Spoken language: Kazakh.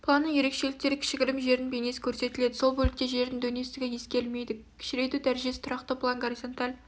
планның ерекшеліктері кішігірім жердің бейнесі көрсетіледі сол бөлікте жердің дөңестігі ескерілмейді кішірейту дәрежесі тұрақты план горизонталь